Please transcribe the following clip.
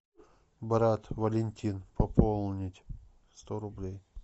брат валентин пополнить сто рублей